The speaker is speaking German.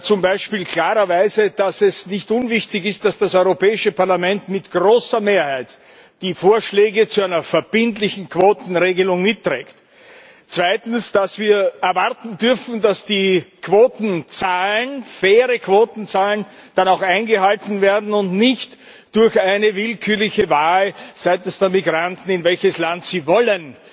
Zum Beispiel klarerweise, dass es nicht unwichtig ist, dass das Europäische Parlament mit großer Mehrheit die Vorschläge zu einer verbindlichen Quotenregelung mitträgt. Zweitens, dass wir erwarten dürfen, dass die Quotenzahlen faire Quotenzahlen dann auch eingehalten werden und nicht durch eine willkürliche Wahl seitens der Migranten, in welches Land sie wollen,